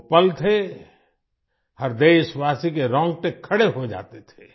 वो पल थे हर देशवासी के रौंगटे खड़े हो जाते थे